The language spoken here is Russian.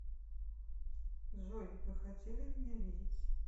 джой вы хотели меня видеть